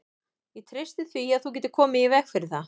Ég treysti því, að þú getir komið í veg fyrir það